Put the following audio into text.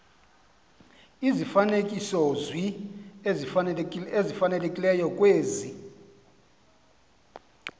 izifanekisozwi ezifanelekileyo kwezi